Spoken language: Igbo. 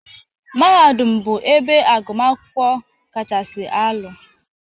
Mahadum bụ ebe agụmakwụkwọ kachasị alụ